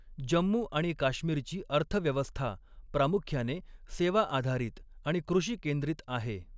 जम्मू आणि काश्मीरची अर्थव्यवस्था प्रामुख्याने सेवा आधारित आणि कृषी केंद्रित आहे.